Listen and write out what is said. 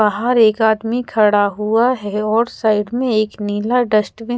बहार एक आदमी खड़ा हुआ है और साइड में एक नीला डस्ट्बिन --